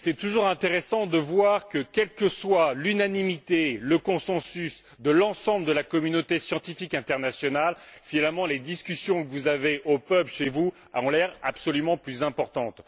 C'est toujours intéressant de voir que, quelle que soit l'unanimité ou le consensus de l'ensemble de la communauté scientifique internationale, finalement, les discussions que vous avez au pub chez vous ont l'air beaucoup plus importantes.